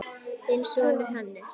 Þinn sonur, Hannes.